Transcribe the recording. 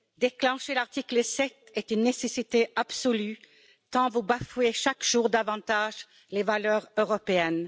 Déclencher l'article 7 est une nécessité absolue, tant vous bafouez chaque jour davantage les valeurs européennes.